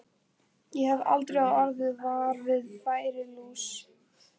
Ég hef aldrei orðið var við færilús.